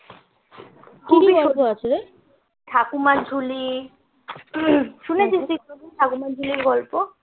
ঠাকুমার ঝুলি শুনেছিস তুই কোনোদিন ঠাকুমার ঝুলির গল্প